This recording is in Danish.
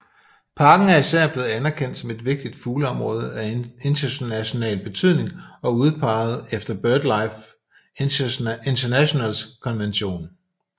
Parken er især blevet anerkendt som et vigtigt fugleområde af international betydning udpeget efter BirdLife Internationals konvention